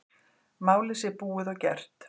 Málið sé búið og gert.